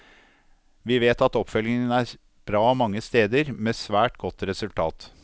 Vi vet at oppfølgingen er bra mange steder, med svært godt resultat.